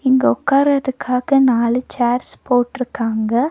இங்க உட்காருறதுக்காக நாலு சேர்ஸ் போட்டிருக்காங்க.